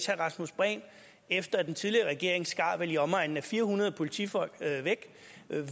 herre rasmus prehn efter at den tidligere regering skar i omegnen af fire hundrede politifolk væk